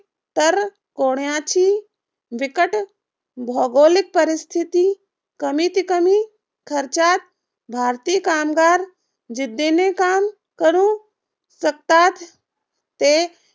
तर कोणाची बिकट भौगोलिक परिस्थिती कमीत कमी खर्चात भारतीय कामगार जिद्दीने काम करू शकतात ते